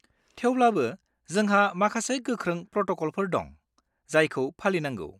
थेवब्लाबो, जोंहा माखासे गोख्रों प्रट'क'लफोर दं, जायखौ फालिनांगौ।